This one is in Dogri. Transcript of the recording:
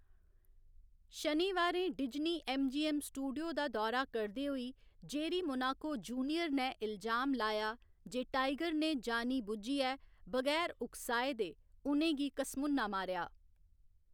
शनिवारें Disney M. G. M. Studio दा दौरा करदे होई, जेरी मोनाको जूनियर ने इल्जाम लाया जे टाइगर ने जानी बुज्झियै बगैर उकसाहे दे उ'नें गी घसमुन्ना मारेआ।